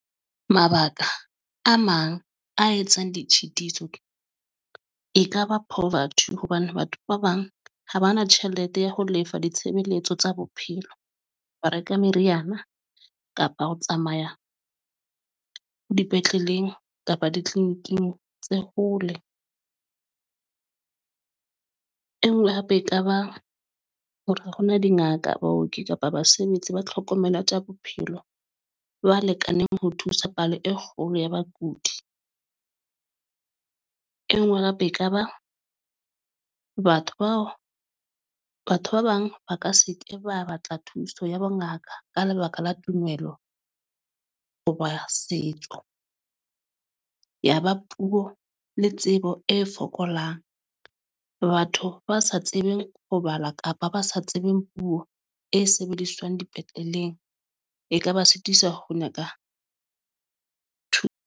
Mabaka a mang a etsang ditshitiso , ekaba poverty hobane batho ba bang ha ba na tjhelete ya ho lefa ditshebeletso tsa bophelo, ba reka meriana kapa ho tsamaya dipetleleng kapa di-clinic-ing tse hole. E nngwe hape ekaba hore ha hona dingaka, baoki kapa basebetsi ba tlhokomelo ya tsa bophelo ba lekaneng ho thusa palo e kgolo ya bakudi. E nngwe hape ekaba batho bao batho ba bang ba ka se ke ba batla thuso ya bongaka ka lebaka la tumelo hoba setso. Yaba puo le tsebo e fokolang, batho ba sa tsebeng ho bala kapa ba sa tsebeng puo e sebediswang dipetleleng, ekaba suthisa ho nyaka Two ng .